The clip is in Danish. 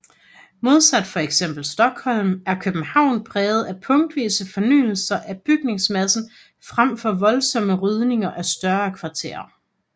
Modsat fx Stockholm er København præget af punktvise fornyelser af bygningsmassen frem for voldsomme rydninger af større kvarterer